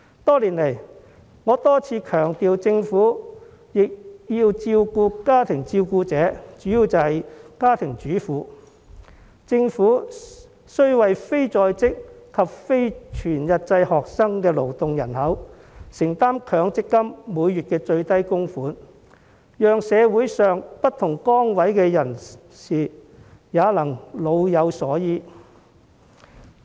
多年來，我多次強調政府亦要照顧家庭照顧者，當中主要為家庭主婦，政府須為非在職及非全日制學生的勞動人口承擔強積金每月最低供款，讓社會上不同崗位的人士也能夠老有所依。